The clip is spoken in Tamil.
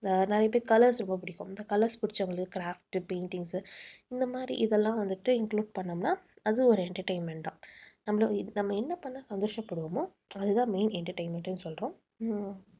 அஹ் நிறைய பேர் colours ரொம்ப பிடிக்கும். இந்த colours பிடிச்சவங்களுக்கு craft, paintings இந்த மாதிரி இதெல்லாம் வந்துட்டு include பண்ணோம்னா அது ஒரு entertainment தான். நம்மளும் நம்ம என்ன பண்ணா சந்தோஷப்படுவோமோ அதுதான் main entertainment ன்னு சொல்றோம். உம்